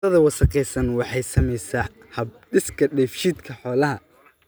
Cuntada wasakhaysan waxay saamaysaa hab-dhiska dheefshiidka xoolaha.